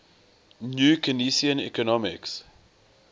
new keynesian economics